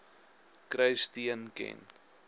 kry steun ken